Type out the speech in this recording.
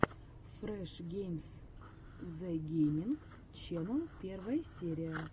фреш геймс зэ гейминг ченел первая серия